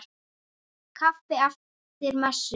Kaffi eftir messu.